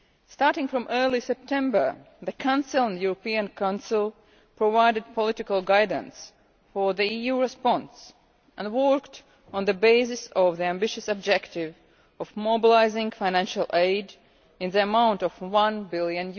Starting from early September, the Council and the European Council provided political guidance for the EU response and worked on the basis of the ambitious objective of mobilising financial aid amounting to EUR 1 billion.